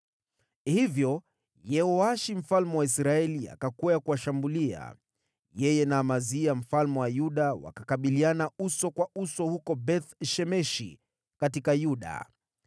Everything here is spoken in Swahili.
Hivyo Yehoashi mfalme wa Israeli akakwea kuwashambulia. Yeye na Amazia mfalme wa Yuda wakakabiliana uso kwa uso huko Beth-Shemeshi katika Yuda.